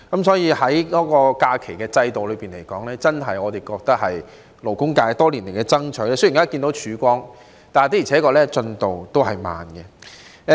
就假期制度而言，我們真的覺得這是勞工界多年爭取的成果，雖然看到曙光，但進度也確實緩慢。